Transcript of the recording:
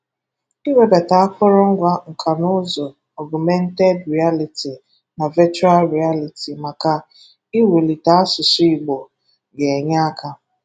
Iwebata akụrụngwa nkanụụzụ Ọgụmented Rịaliti na Vechụal Rịaliti maka iwulite asụsụ Igbo ga-enye aka